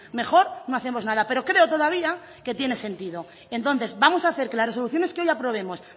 mejor no hacemos nada pero creo todavía que tiene sentido entonces vamos a hacer que las resoluciones que hoy aprobemos